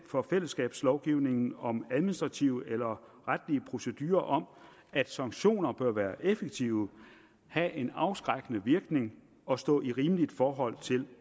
for fællesskabslovgivningen om administrative eller retlig procedurer om at sanktioner bør være effektive have en afskrækkende virkning og stå i rimeligt forhold til